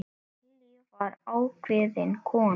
Vallý var ákveðin kona.